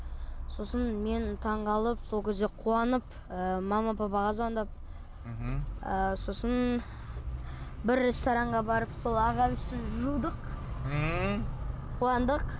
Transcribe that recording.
сосын мен таңғалып сол кезде қуанып ы мама папаға звондап мхм ыыы сосын бір ресторннға барып сол ағам үшін жудық ммм қуандық